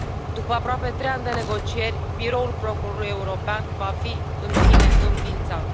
După aproape trei ani de negocieri, Biroul procurorului european va fi, în fine, înființat.